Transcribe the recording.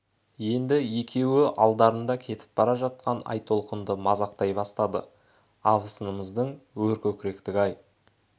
енді екеуі алдарында кетіп бара жатқан айтолқынды мазақтай бастады абысынымыздың өр көкіректігі-ай